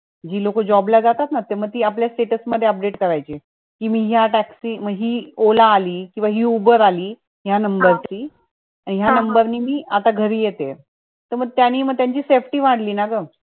जी लोक job जातात ना म ते लोक आपल्या status मध्ये करायचे कि मी या taxi म हि ola आली कि हि uber आली या number ची आणि मी आता या number नि घरी येते म त्यांनी त्यांची safety वाढली ना गं.